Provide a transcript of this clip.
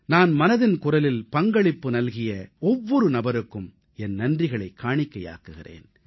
நான் மனதின் குரலில் பங்களிப்பு நல்கிய ஒவ்வொரு நபருக்கும் என் நன்றிகளைக் காணிக்கையாக்குகிறேன்